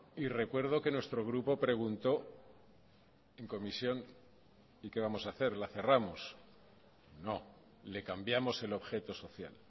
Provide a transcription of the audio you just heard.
y recuerdo que nuestro grupo preguntó en comisión y qué vamos a hacer la cerramos no le cambiamos el objeto social